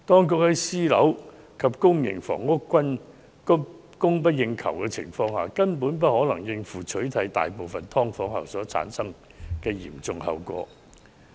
在私樓及公營房屋均供不應求的情況下，當局根本無法應付取締大部分"劏房"後所產生的嚴重後果。